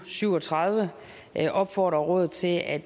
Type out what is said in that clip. syv og tredive opfordrer rådet til at